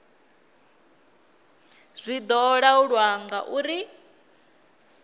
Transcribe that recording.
zwi do laulwa nga uri